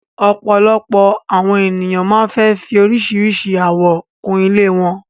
Òpọ́lọ́pọ́ àwọn ènìyàn máa fẹ́ fì oríṣíṣírí àwò kún ilẹ̀ wọn